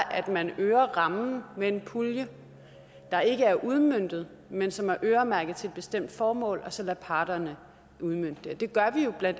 at man øger rammen med en pulje der ikke er udmøntet men som er øremærket til et bestemt formål og så lader parterne udmønte den det gør vi jo bla